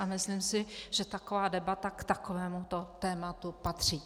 A myslím si, že taková debata k takovémuto tématu patří.